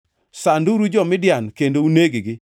“Sanduru jo-Midian kendo uneg-gi,